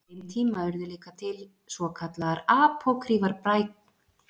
Á þeim tíma urðu líka til svo kallaðar Apókrýfar bækur Gamla testamentisins.